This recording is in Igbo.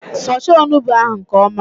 Fọchaa onugbụ ahụ nke ọma!